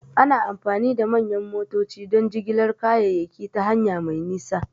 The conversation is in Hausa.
Ana amfani da manyan motoci don jigilar kayayyaki ta hanya mai nisa.